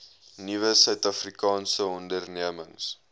nuwe suidafrikaanse ondernemings